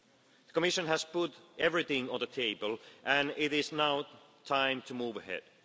system. The Commission has put everything on the table and it is now time to move